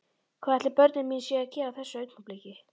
Hvað ætli börnin mín séu að gera á þessu augnabliki?